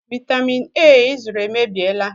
Vị́tamị́n A ị zụrụ èmèbịèlà